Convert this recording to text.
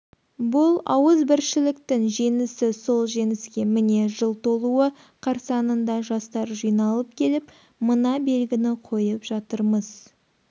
бұл ауызбіршіліктің жеңісі сол жеңіске міне жыл толуы қарсаңында жастар жиналып келіп мына белгіні қойып жатырмыз